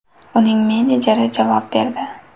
Uning menejeri javob berdi.